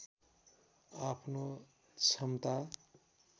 आफ्नो क्षमता